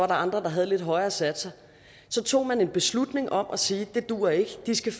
andre der havde lidt højere satser så tog man en beslutning om at sige at det duer ikke de skal